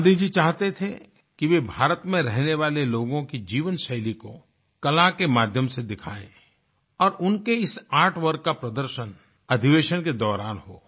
गाँधी जी चाहते थे कि वे भारत में रहने वाले लोगों की जीवनशैली को कला के माध्यम से दिखाए और उनकी इस आर्ट वर्क का प्रदर्शन अधिवेशन के दौरान हो